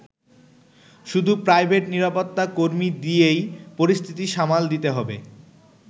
শুধু প্রাইভেট নিরাপত্তা কর্মী দিয়েই পরিস্থিতি সামাল দিতে হবে।